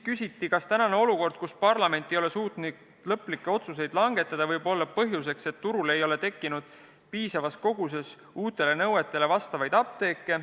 Küsiti ka, kas praegune olukord, kus parlament ei ole suutnud lõplikke otsuseid langetada, võib olla põhjuseks, et turul ei ole tekkinud piisavas koguses uutele nõuetele vastavaid apteeke.